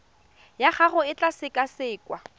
ya gago e tla sekasekwa